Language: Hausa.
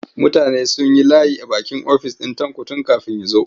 Mutane sun yi layi a bakin ofis ɗin Tanko tun kafin ya zo.